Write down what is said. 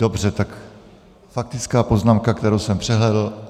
Dobře, tak faktická poznámka, kterou jsem přehlédl.